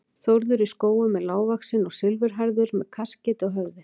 Þórður í Skógum er lágvaxinn og silfurhærður með kaskeiti á höfði.